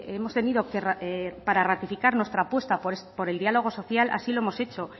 hemos tenido para ratificar nuestra apuesta por el diálogo social así lo hemos hecho